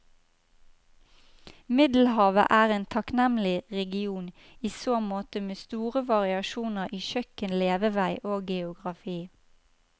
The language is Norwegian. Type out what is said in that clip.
Middelhavet er en takknemlig region i så måte med store variasjoner i kjøkken, levevei og geografi.